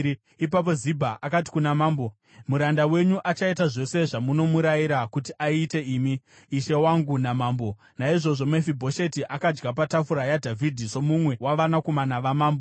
Ipapo Zibha akati kuna mambo, “Muranda wenyu achaita zvose zvamunomurayira kuti aite imi, ishe wangu namambo. Naizvozvo Mefibhosheti akadya patafura yaDhavhidhi somumwe wavanakomana vamambo.”